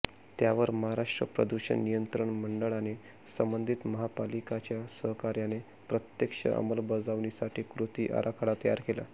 त्यावर महाराष्ट्र प्रदूषण नियंत्रण मंडळाने संबंधित महापालिकांच्या सहकार्याने प्रत्यक्ष अंमलबजावणीसाठी कृती आराखडा तयार केला